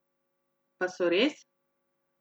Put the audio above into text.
Pa so res?